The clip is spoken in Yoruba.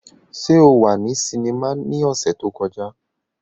Ṣe o wa ni sinima ni ọsẹ to kọja?